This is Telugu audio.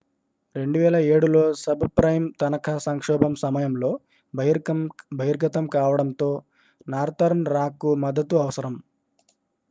2007 లో సబ్ప్రైమ్ తనఖా సంక్షోభం సమయంలో బహిర్గతం కావడంతో నార్తర్న్ రాక్కు మద్దతు అవసరం